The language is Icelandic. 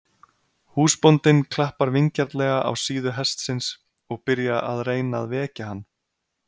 Húsbóndinn klappar vingjarnlega á síðu hestsins og byrja að reyna að vekja hann.